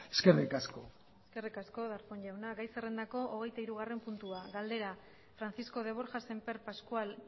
eskerrik asko eskerrik asko darpón jauna gai zerrendako hogeitahirugarren puntua galdera francisco de borja semper pascual